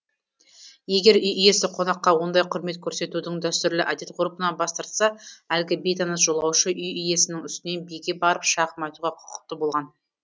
егер үй иесі қонаққа ондай құрмет көрсетудің дәстүрлі әдет ғұрпынан бас тартса әлгі бейтаныс жолаушы үй иесінің үстінен биге барып шағым айтуға құқықты болған